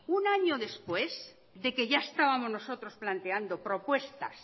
un año después de que ya estábamos nosotros planteando propuestas